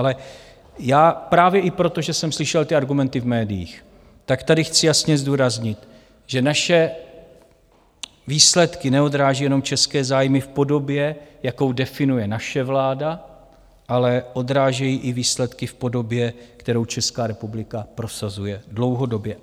Ale já právě i proto, že jsem slyšel ty argumenty v médiích, tak tady chci jasně zdůraznit, že naše výsledky neodrážejí jenom české zájmy v podobě, jakou definuje naše vláda, ale odrážejí i výsledky v podobě, kterou Česká republika prosazuje dlouhodobě.